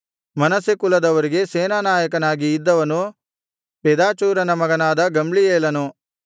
ಮನಸ್ಸೆ ಕುಲದವರಿಗೆ ಸೇನಾನಾಯಕನಾಗಿ ಇದ್ದವನು ಪೆದಾಚೂರನ ಮಗನಾದ ಗಮ್ಲೀಯೇಲನು